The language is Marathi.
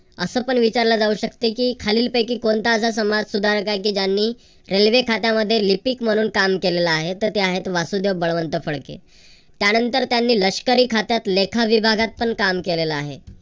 असं पण विचारले जाऊ शकते की खालीलपैकी कोणता असा समाज सुधारक आहे की की ज्यांनी रेल्वे खात्यामध्ये लिपिक म्हणून काम केलेल आहे. तर ते आहेत वासुदेव बळवांत फडके. त्यानंतर त्यांनी लष्करी खात्यात लेखा विभागात पण काम केलेल आहे.